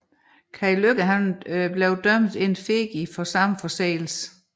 Kai Lykke dømtes In effigie for samme forseelse